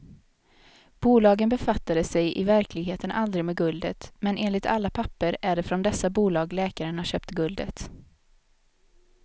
Bolagen befattade sig i verkligheten aldrig med guldet, men enligt alla papper är det från dessa bolag läkaren har köpt guldet.